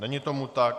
Není tomu tak.